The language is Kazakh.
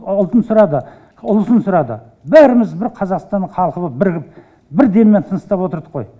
ұлтын сұрады ұлысын сұрады бәріміз бір қазақстанның халқы болып бірігіп бір деммен тыныстап отырдық қой